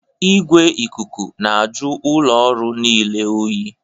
Igwe ikuku na-ajụ ụlọ ọrụ niile oyi